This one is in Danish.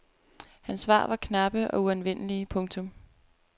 Hans svar var knappe og uanvendelige. punktum